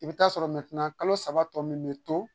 I bi taa sɔrɔ kalo saba tɔ min bɛ to